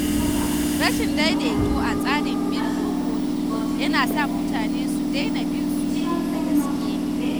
Rashin daidaito a tsarin bin dokoki yana sa mutane su daina bin su da gaske.